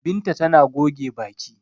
Binta tana goge baki.